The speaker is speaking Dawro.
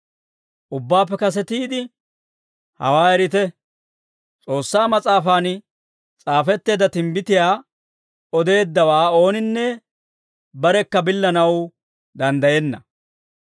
Ubbaappe kasetiide, hawaa erite; S'oossaa Mas'aafan s'aafetteedda timbbitiyaa odeeddawaa ooninne barekka billanaw danddayenna.